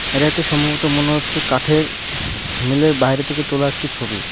এটা একটি সম্ভবত মনে হচ্ছে কাঠের মিল এর বাইরে থেকে তোলা একটি ছবি।